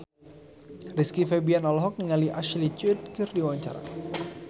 Rizky Febian olohok ningali Ashley Judd keur diwawancara